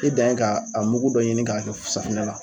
E dan ye k'a a mugu dɔ ɲini k'a kɛ safinɛ la.